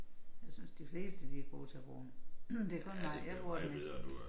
Jeg synes de fleste de er gode til at bruge den det er kun mig jeg bruger den ikke